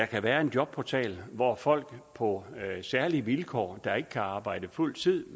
kan være en jobportal hvor folk på særlige vilkår folk der ikke kan arbejde fuld tid